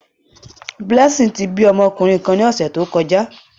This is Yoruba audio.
Blessing ti bi ọmọkunrin kan ni ọsẹ to kọja.